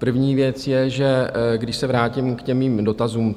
První věc je, že když se vrátím k těm mým dotazům.